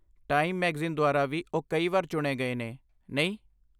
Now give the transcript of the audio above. Time magazine ਦੁਆਰਾ ਵੀ ਓਹ ਕਈ ਵਾਰ ਚੁਣੇ ਗਏ ਨੇ, ਨਹੀਂ?